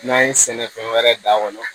N'an ye sɛnɛfɛn wɛrɛ da kɔnɔ